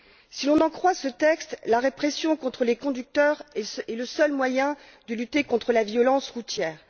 Si l'on en croit ce texte, la répression contre les conducteurs est le seul moyen de lutter contre la violence routière.